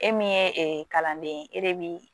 E min ye ee kalanden e de bi